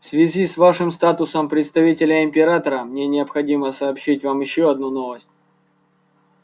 в связи с вашим статусом представителя императора мне необходимо сообщить вам ещё одну новость